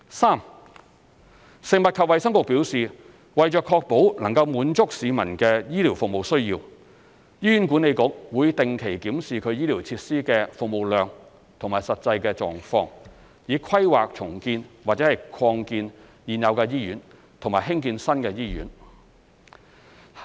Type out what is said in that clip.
三食衞局表示，為確保能滿足市民的醫療服務需要，醫院管理局會定期檢視其醫療設施的服務量和實際狀況，以規劃重建或擴建現有醫院和興建新醫院。